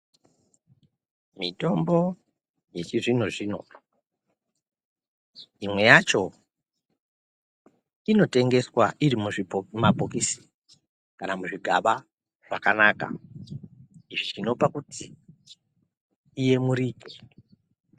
Mitombo yechizvino-zvino imwe yacho inotengeswa iri muzvibhokisi kana muzvigaba zvakakaka, zvinopa kuti iyemurike.